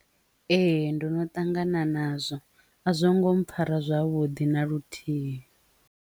Ee. Ndono ṱangana nazwo a zwo ngo mpfara zwavhuḓi na luthihi.